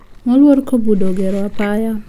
Moluor kobudo ogero apaya